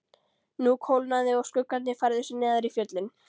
Nú kólnaði og skuggarnir færðu sig neðar í fjöllin.